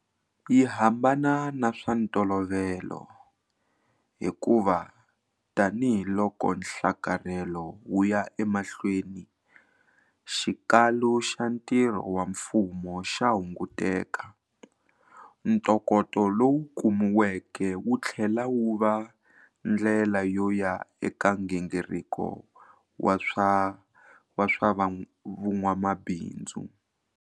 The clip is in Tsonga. Yi hambana na swa ntolovelo, hikuva tanihiloko nhlakarhelo wu ya emahlweni, xikalu xa ntirho wa mfumo xa hunguteka. Ntokoto lowu kumiweke wu tlhela wu va ndlela yo ya eka nghingiriko wa swa vun'wamabindzu.